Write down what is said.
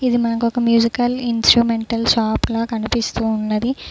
ఇది మనకు ఒక మ్యూజికల్ ఇంస్ట్రుమెంటల్ షాప్ లా కనిపిస్తూ ఉన్నది.